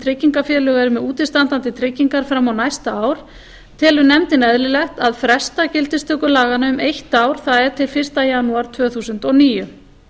tryggingafélög eru með útistandandi tryggingar fram á næsta ár telur nefndin eðlilegt að fresta gildistöku laganna um eitt ár það er til fyrsta janúar tvö þúsund og níu